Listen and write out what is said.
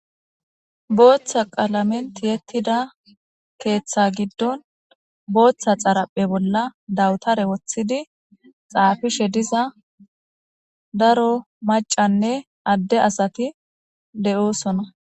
Booththa qalamenti yettida keeththa giddon booththa xaraphe bolla dawutare woththidi xaafishe diza daro macanne adde asati de7oosona.